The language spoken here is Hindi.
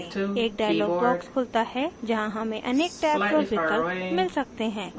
एक dialog box खुलता है जहाँ हमें अनेक tabs और विकल्प मिल सकते हैं